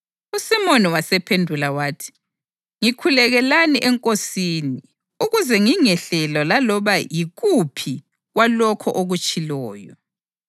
USimoni wasephendula wathi, “Ngikhulekelani eNkosini ukuze ngingehlelwa laloba yikuphi lwalokho okutshiloyo.”